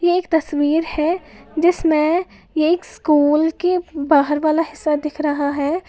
एक तस्वीर है जिसमें एक स्कूल के बाहर वाला हिस्सा दिख रहा है।